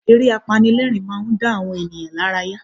Eré apanilẹ́rìn-ín máa ń dá àwọn ènìyàn lárayá